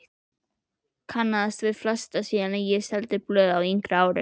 Kannaðist við flesta síðan ég seldi blöð á yngri árum.